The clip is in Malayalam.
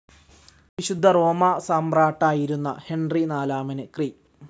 വിശുദ്ധ റോമാസമ്രാട്ടായിരുന്ന ഹെൻറി നാലാമന് ക്രി.